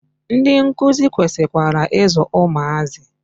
Ndị nkuzi kwesikwara i zụ ụmụazị.